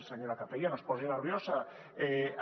senyora capella no es posi nerviosa